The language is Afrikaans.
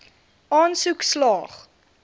aansoek slaag